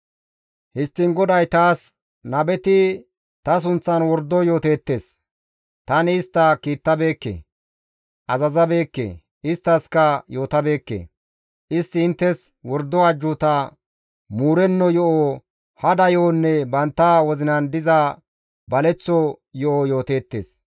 Histtiin GODAY taas, «Nabeti ta sunththan wordo yooteettes. Tani istta kiittabeekke, azazabeekke, isttaskka yootabeekke. Istti inttes wordo ajjuuta, muurenno yo7o, hada yo7onne bantta wozinan diza baleththo yo7o yooteettes.